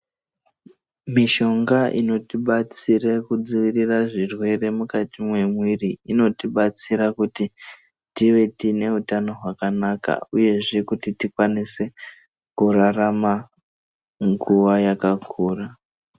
Mishonga inotibatsira kudzivirire zvirwere mukati mwemuviri inotibatsira kuti tive tine utano hwakanaka uyezve kuti tikwanise kurarama nguva yakakura.